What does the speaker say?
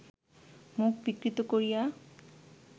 মুখ বিকৃত করিয়া